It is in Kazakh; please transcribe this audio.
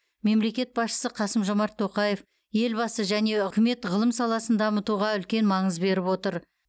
мемлекет басшысы қасым жомарт тоқаев елбасы және үкімет ғылым саласын дамытуға үлкен маңыз беріп отыр